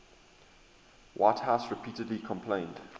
whitehouse repeatedly complained